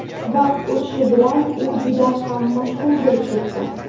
Vaqt o‘tishi bilan u juda ham mashhur bo‘lib ketdi.